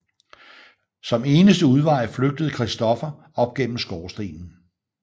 Som eneste udvej flygtede Christoffer op gennem skorstenen